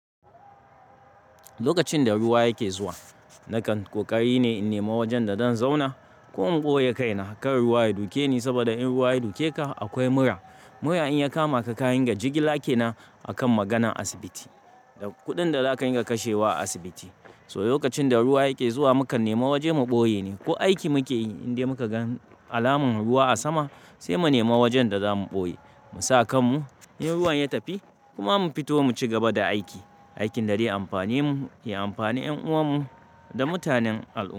Lokacin da ruwa yake zuwa, na kan ƙoƙari ne in nema wajen da zan zauna. Ko in ɓoye kaina, kar ruwa ya duke ni. Saboda in ruwa ya duke ka, akwai mura. Mura in ya kama ka, ka ringa jigila kaina a kan maganan asibiti da kuɗin da za ka ringa kashe wa a asibiti. So lokacin da ruwa yake zuwa, mu ka nema waje mu ɓoye ne. Ko aiki muke yi, in dai muka gan alamar ruwa a sama sai mu nema wajen da za mu ɓoye. Mu sa kanmu, in ruwan ya tafi kuma mu fito mu cigaba da aikin da zai yi amfani mu, ya amfani da ƴan uwan mu da mutanen al'ummah.